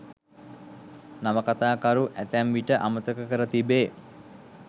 නවකතාකරු ඇතැම් විට අමතක කර තිබේ